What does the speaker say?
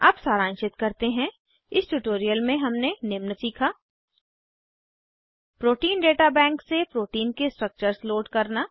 अब सारांशित करते हैं इस ट्यूटोरियल में हमने निम्न सीखा प्रोटीन डेटा बैंक से प्रोटीन के स्ट्रक्चर्स लोड करना